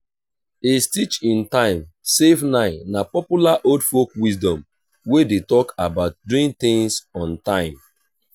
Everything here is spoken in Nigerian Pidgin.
a stitch in time save nine na popular old folk wisdom wey de talk about doing things on time